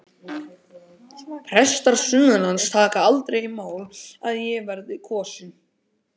Prestar sunnanlands taka aldrei í mál að ég verði kosinn.